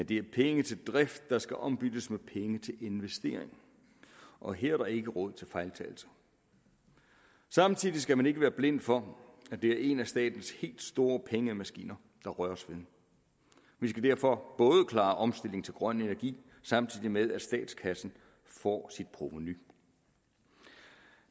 det er penge til drift der skal ombyttes med penge til investeringer og her er der ikke råd til fejltagelser samtidig skal man ikke være blind for at det er en af statens helt store pengemaskiner der røres ved vi skal derfor klare omstillingen til grøn energi samtidig med at statskassen får sit provenu